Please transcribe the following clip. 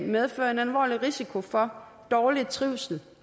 medfører en alvorlig risiko for dårlig trivsel